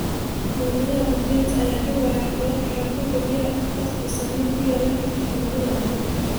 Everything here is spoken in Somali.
Mawjadaha badweynta ayaa dhibaya kororka heerkulka biyaha badda, taas oo saameyn ku yeelan karta cimilada adduunka.